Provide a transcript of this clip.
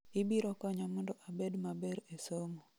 ibiro konya mondo abed maber e somo